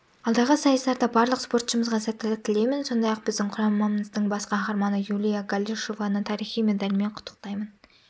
алдағы сайыстарда барлық спортшымызға сәттілік тілеймін сондай-ақ біздің құрамамыздың бас қаһарманы юлия галышеваны тарихи медалімен құттықтаймын